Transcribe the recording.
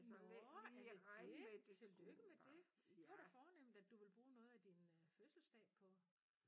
Nåh er det det tillykke med det det var da fornemt at du ville bruge noget af din øh fødselsdag på